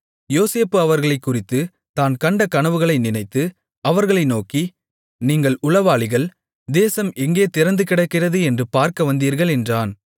யோசேப்பு அவர்களைக் குறித்துத் தான் கண்ட கனவுகளை நினைத்து அவர்களை நோக்கி நீங்கள் உளவாளிகள் தேசம் எங்கே திறந்துகிடக்கிறது என்று பார்க்க வந்தீர்கள் என்றான்